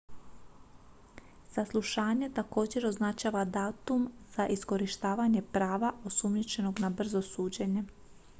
saslušanje također označava datum za iskorištavanje prava osumnjičenog na brzo suđenje